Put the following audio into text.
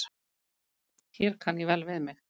Hér kann ég vel við mig.